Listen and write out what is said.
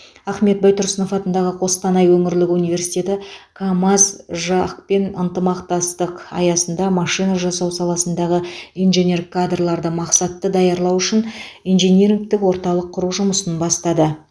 ахмет байтұрсынов атындағы қостанай өңірлік университеті камаз жақ пен ынтымақтастық аясында машина жасау саласындағы инженер кадрларды мақсатты даярлау үшін инжинирингтік орталық құру жұмысын бастады